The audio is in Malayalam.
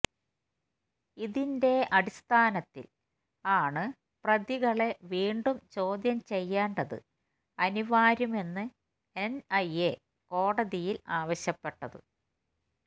ഇതിന്റെ അടിസ്ഥാനത്തിൽ ആണ് പ്രതികളെ വീണ്ടും ചോദ്യം ചെയ്യേണ്ടത് അനിവാര്യം എന്ന് എൻഐഎ കോടതിയിൽ ആവശ്യപ്പെട്ടത്